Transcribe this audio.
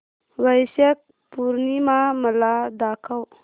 वैशाख पूर्णिमा मला दाखव